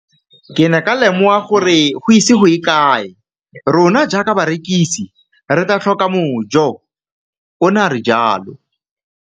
Ke ne ka lemoga gore go ise go ye kae rona jaaka barekise re tla tlhoka mojo, o ne a re jalo.